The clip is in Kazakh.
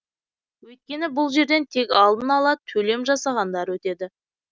өйткені бұл жерден тек алдын ала төлем жасағандар өтеді